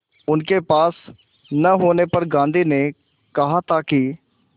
उनके पास न होने पर गांधी ने कहा था कि